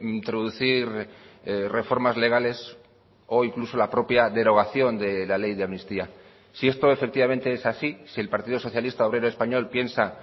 introducir reformas legales o incluso la propia derogación de la ley de amnistía si esto efectivamente es así si el partido socialista obrero español piensa